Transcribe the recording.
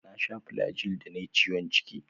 Na sha Flagyl da nayi ciwon ciki.